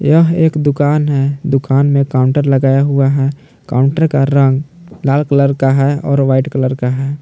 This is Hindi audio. यह एक दुकान है दुकान में काउंटर लगाया हुआ है काउंटर का रंग लाल कलर है और वाइट कलर का है।